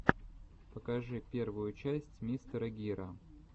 покажи первую часть мистера гира